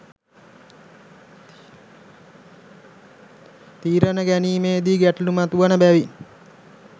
තීරණ ගැනීමේ දී ගැටලූ මතුවන බැවින්